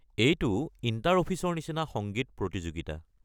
এইটো ইণ্টাৰ-অফিচৰ নিচিনা সংগীত প্ৰতিযোগিতা।